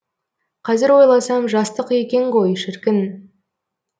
қазір ойласам жастық екен ғой шіркін